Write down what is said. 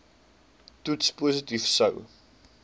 toets positief sou